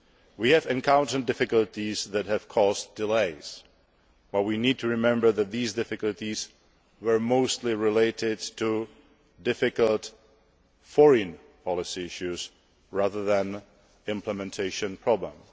We have encountered difficulties that have caused delays, but we need to remember that these difficulties were mostly related to difficult foreign policy issues rather than implementation problems.